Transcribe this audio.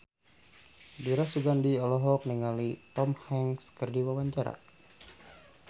Dira Sugandi olohok ningali Tom Hanks keur diwawancara